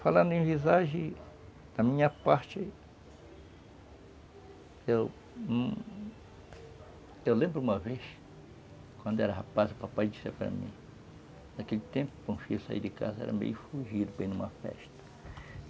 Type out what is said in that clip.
Falando em visagem, da minha parte, eu lembro uma vez, quando era rapaz, o papai disse para mim, naquele tempo, quando o filho saía de casa, era meio fugido para ir numa festa.